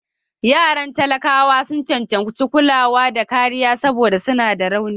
Yaran matalauta sun cancanci kulawa da kariya saboda suna da rauni.